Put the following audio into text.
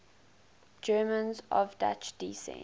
germans of dutch descent